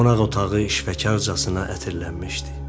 Qonaq otağı işvəcarcasına ətirlənmişdi.